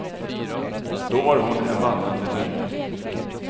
Då var hon en vandrande myt.